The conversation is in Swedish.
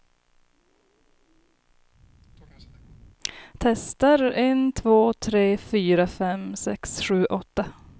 Testar en två tre fyra fem sex sju åtta.